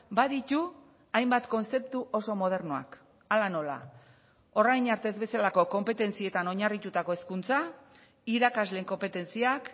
baditu hainbat kontzeptu oso modernoak hala nola orain arte ez bezalako konpetentzietan oinarritutako hezkuntza irakasleen konpetentziak